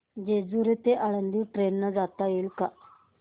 जेजूरी ते आळंदी ट्रेन ने जाता येईल का